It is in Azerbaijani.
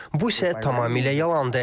Bu isə tamamilə yalandır.